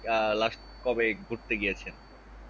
আহ last কবে ঘুরতে গিয়েছেন